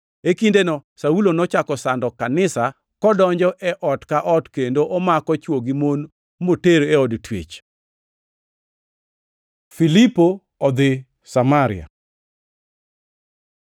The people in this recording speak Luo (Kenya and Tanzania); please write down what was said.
E kindeno Saulo nochako sando kanisa kodonjo e ot ka ot kendo omako chwo gi mon moter e od twech. Filipo odhi Samaria